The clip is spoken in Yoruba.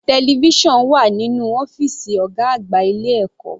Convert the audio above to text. Television wà nínú ọ́fìsì ọ̀gá àgbà ilé ẹ̀kọ́.